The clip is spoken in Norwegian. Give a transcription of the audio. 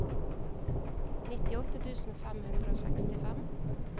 nittiåtte tusen fem hundre og sekstifem